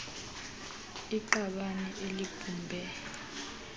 s iqabane elibhubhe